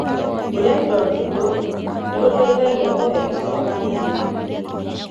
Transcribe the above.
Kuoya indo nditũ nĩguteithagia kũhe icoka hinya.